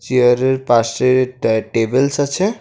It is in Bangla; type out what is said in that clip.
চেয়ারের পাশে ত্যা টেবিলস আছে।